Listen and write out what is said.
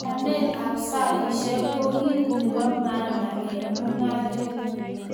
Panganet ab saishek ko kit nebo maana eng mung'aret